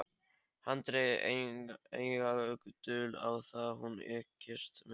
Hann drægi enga dul á það: hún ykist mikið.